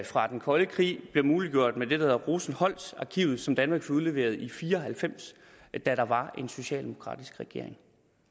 fra den kolde krig blev muliggjort med det der hedder rosenholzarkivet som danmark fik udleveret i nitten fire og halvfems da der var en socialdemokratisk regering